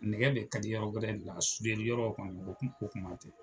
Nɛgɛ de ka di yɔrɔ wɛrɛ nka a sudeli yɔrɔ kɔni kuma tɛ!